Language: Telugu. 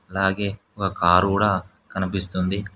అలాగే ఒక కారు కూడా కనిపిస్తుంది.